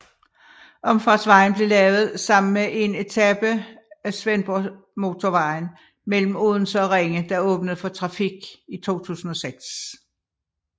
Omfartsvejen blev lavet sammen med 1 etape af Svendborgmotorvejen mellem Odense og Ringe der åbnede for trafik i 2006